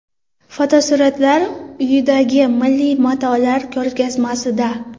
Fotosuratlar uyidagi milliy matolar ko‘rgazmasida.